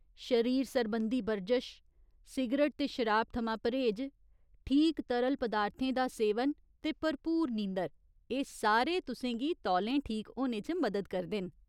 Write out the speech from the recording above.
शरीर सरबंधी बरजश, सिगरट ते शराब थमां परहेज, ठीक तरल पदार्थें दा सेवन ते भरपूर नींदर , एह् सारे तुसें गी तौलें ठीक होने च मदद करदे न।